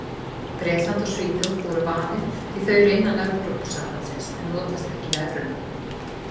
Bretland og Svíþjóð voru valin því þau eru innan Evrópusambandsins en notast ekki við evruna.